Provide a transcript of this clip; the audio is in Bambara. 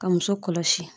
Ka muso kɔlɔsi